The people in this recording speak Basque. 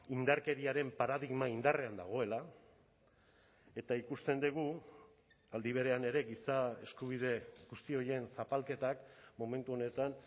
indarkeriaren paradigma indarrean dagoela eta ikusten dugu aldi berean ere giza eskubide guzti horien zapalketak momentu honetan